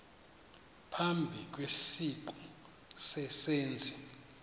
phambi kwesiqu sezenzi